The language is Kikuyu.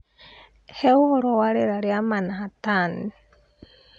Hee ũhoro wa rĩera rĩa Manhattan